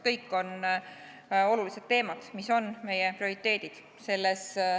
Kõik on olulised teemad, mis on meie prioriteedid.